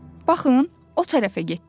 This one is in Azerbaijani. Baxın, o tərəfə getdilər.